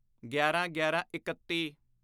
ਗਿਆਰਾਂਗਿਆਰਾਂਇਕੱਤੀ